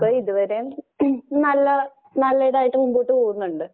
ഇതുവരേം നല്ല നല്ലിതായിട്ട് മുമ്പോട്ടുപോകുന്നുണ്ട്.